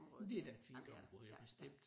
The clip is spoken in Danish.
Det da et fint område bestemt